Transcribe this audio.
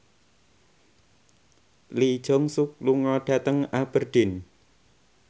Lee Jeong Suk lunga dhateng Aberdeen